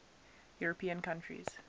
european countries